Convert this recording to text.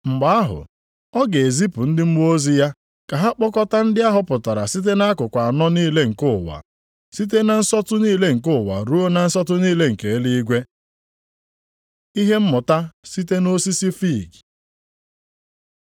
Mgbe ahụ, ọ ga-ezipụ ndị mmụọ ozi ya ka ha kpokọta ndị a họpụtara site nʼakụkụ anọ niile nke ụwa. Site na nsọtụ niile nke ụwa ruo na nsọtụ niile nke eluigwe. Ihe mmụta site nʼosisi fiig